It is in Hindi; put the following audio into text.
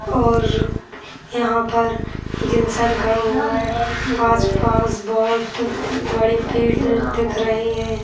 और यहाँ पर एक इंसान खड़ा हुआ है पास-पास बहोत बड़े पेड़ दिख रहे हैं।